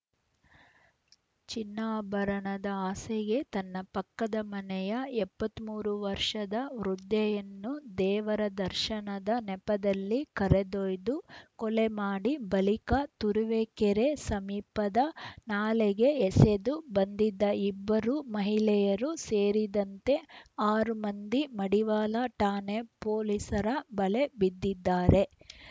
ಚಿನ್ನಾಭರಣದ ಆಸೆಗೆ ತನ್ನ ಪಕ್ಕದ ಮನೆಯ ಎಪ್ಪತ್ತ್ ಮೂರು ವರ್ಷದ ವೃದ್ಧೆಯನ್ನು ದೇವರ ದರ್ಶನದ ನೆಪದಲ್ಲಿ ಕರೆದೊಯ್ದು ಕೊಲೆ ಮಾಡಿ ಬಳಿಕ ತುರುವೇಕೆರೆ ಸಮೀಪದ ನಾಲೆಗೆ ಎಸೆದು ಬಂದಿದ್ದ ಇಬ್ಬರು ಮಹಿಳೆಯರು ಸೇರಿದಂತೆ ಆರು ಮಂದಿ ಮಡಿವಾಳ ಠಾಣೆ ಪೊಲೀಸರ ಬಲೆ ಬಿದ್ದಿದ್ದಾರೆ